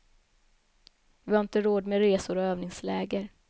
Vi har inte råd med resor och övningsläger.